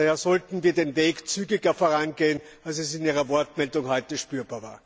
Daher sollten wir den Weg zügiger vorangehen, als es in Ihrer Wortmeldung heute spürbar war.